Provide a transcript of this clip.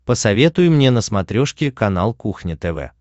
посоветуй мне на смотрешке канал кухня тв